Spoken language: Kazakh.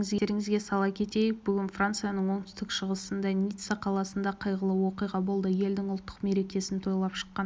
естеріңізге сала кетейік бүгін францияның оңтүстік-шығысындағы ницца қаласында қайғылы оқиға болды елдің ұлттық мерекесін тойлап шыққан